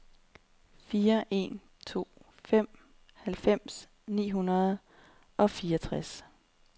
fire en to fem halvfems ni hundrede og fireogtres